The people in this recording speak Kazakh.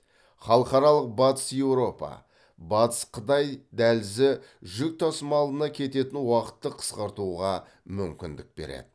халықаралық батыс еуропа батыс қытай дәлізі жүк тасымалына кететін уақытты қысқартуға мүмкіндік береді